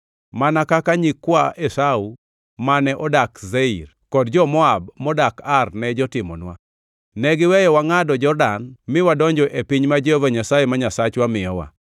mana kaka nyikwa Esau mane odak Seir kod jo-Moab modak Ar ne jotimonwa, negiweyo wangʼado Jordan miwadonjo e piny ma Jehova Nyasaye ma Nyasachwa miyowa.”